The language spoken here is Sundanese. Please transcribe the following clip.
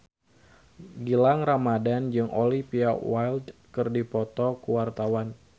Gilang Ramadan jeung Olivia Wilde keur dipoto ku wartawan